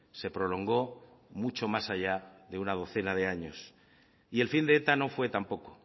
se prolongó mucho más allá de una docena de años y el fin de eta no fue tampoco